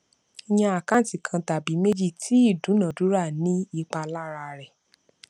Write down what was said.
yan àkáǹtì kan tàbí méjì tí ìdúnadúrà ní ipa lára rẹ